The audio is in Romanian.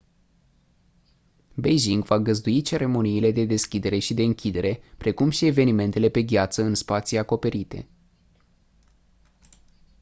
beijing va găzdui ceremoniile de deschidere și de închidere precum și evenimentele pe gheață în spații acoperite